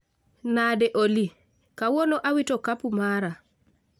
Nade Olly? Kawuono awito okapu mara.